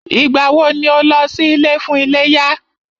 Ìgbà wọ ni o lọ sí ilé fún iléyá?